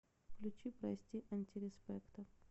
включи прости антиреспекта